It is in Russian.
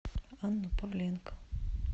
анну павленко